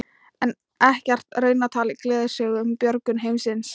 En ekkert raunatal í gleðisögu um björgun heimsins.